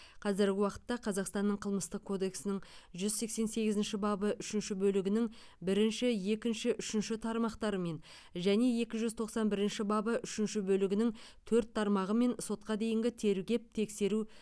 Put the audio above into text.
қазіргі уақытта қазақстанның қылмыстық кодексінің жүз сексен сегізінші бабы үшінші бөлігінің бірінші екінші үшінші тармақтарымен және екі жүз тоқсан бірінші бабы үшінші бөлігінің төрт тармағымен сотқа дейінгі тергеп тексеру